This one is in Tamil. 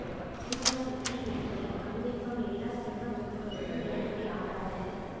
டியூலாங் பெட்டி விதிப்படி அணு வெப்பம் எல்லா திண்மப் பொருள்களுக்கும் ஏற குறைய ஆறாகும்